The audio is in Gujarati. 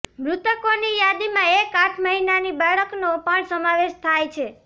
મૃતકોની યાદીમાં એક આઠ મહિનાની બાળકનો પણ સમાવેશ થાય છે